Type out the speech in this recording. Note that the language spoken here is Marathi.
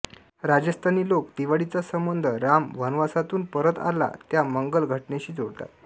राजस्थानी लोक दिवाळीचा संबंध राम वनवासातून परत आला त्या मंगल घटनेशी जोडतात